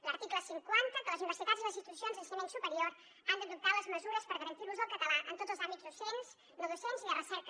l’article cinquanta que les universitats i les situacions d’ensenyament superior han d’adoptar les mesures per garantir l’ús del català en tots els àmbits docents no docents i de recerca